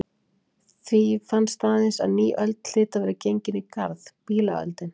Því fannst aðeins að ný öld hlyti að vera gengin í garð: Bílaöldin.